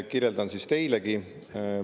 Kirjeldan siis teilegi.